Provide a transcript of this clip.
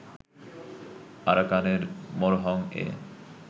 আরাকানের মোরোহং-এ